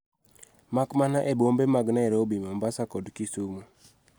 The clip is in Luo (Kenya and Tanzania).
Makmana e bombe mag Nairobi. Mombasa. kod Kisumu.